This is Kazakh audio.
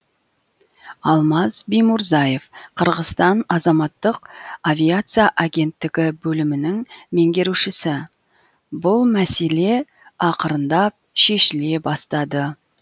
алмаз биймурзаев қырғызстан азаматтық авиация агенттігі бөлімінің меңгерушісі бұл мәселе ақырындап шешіле бастады